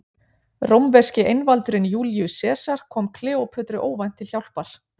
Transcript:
Rómverski einvaldurinn Júlíus Sesar kom Kleópötru óvænt til hjálpar.